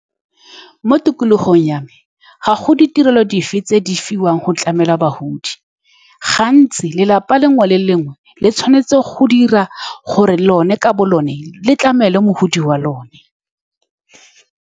Mo tikologong ya me, ga go ditirelo dife tse di fiwang go tlamela bagodi. Gantsi lelapa lengwe le lengwe le tshwanetse go dira gore lone, ka bo lone, le tlamele mogodi wa lone.